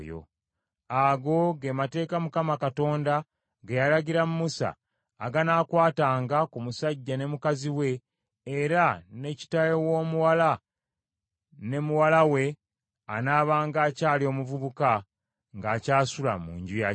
Ago ge mateeka Mukama Katonda ge yalagira Musa aganaakwatanga ku musajja ne mukazi we, era ne kitaawe w’omuwala ne muwala we anaabanga akyali omuvubuka ng’akyasula mu nju ya kitaawe.